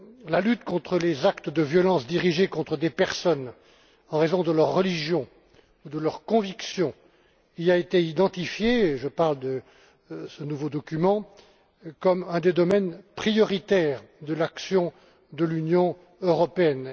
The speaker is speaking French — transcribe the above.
La lutte contre les actes de violence dirigés contre des personnes en raison de leur religion ou de leur conviction, y a été identifiée et je parle de ce nouveau document comme un des domaines prioritaires de l'action de l'Union européenne.